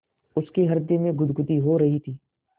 उसके हृदय में गुदगुदी हो रही थी